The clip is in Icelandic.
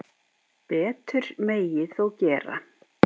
Betur megi þó gera.